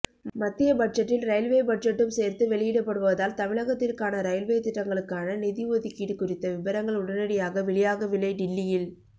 மத்திய பட்ஜெட்டில் ரயில்வே பட்ஜெட்டும் சேர்த்து வெளியிடப்படுவதால் தமிழகத்திற்கான ரயில்வே திட்டங்களுக்கான நிதி ஒதுக்கீடு குறித்த விபரங்கள் உடனடியாக வெளியாகவில்லைடில்லியில்